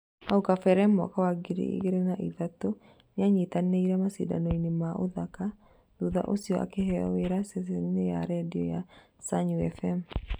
Hau kabere mwaka wa ngiri igĩrĩ na ithatũ nĩanyitanĩire macindano-inĩ ma ũthaka, thutha ũcio akiheo wĩra ceceni ya redio ya Sanyu F.M